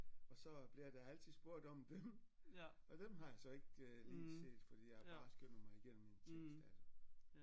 Og så bliver der altid spurgt om dem og dem har jeg så ikke øh lige set fordi jeg har bare skimmet mig igennem en tekst altså